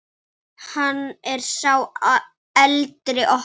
Snýr sér við.